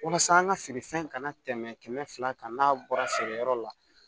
Walasa an ka feerefɛn kana tɛmɛ kɛmɛ fila kan n'a bɔra feere yɔrɔ la